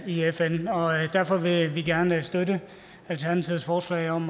i fn derfor vil vi gerne støtte alternativets forslag om